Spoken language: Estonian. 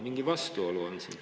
Mingi vastuolu on siin.